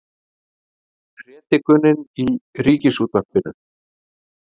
Predikunin í Ríkisútvarpinu